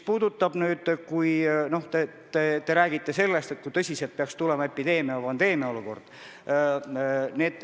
Te rääkisite sellest, et võib tekkida epideemia või pandeemia olukord.